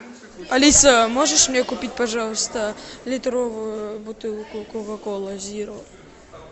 алиса можешь мне купить пожалуйста литровую бутылку кока колы зиро